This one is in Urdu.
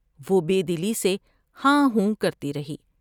وہ بے دلی سے ہاں ہوں کرتی رہی ۔